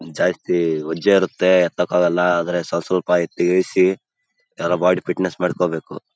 ನಿನ್ನ ಫ್ರೆಂಡ್ ಜೊತೆ ಹೋಗೋದು ವರ್ಕೌಟ್ ಮಾಡೋದು ಬರದು ಅದರಲ್ಲೂ ನಮ್ಮ ಬಾಡಿ ಬಿಲ್ಡ್ ಅಂದ್ರೆ ಸಕ್ಕತ್ ಇಷ್ಟ ಗುರು.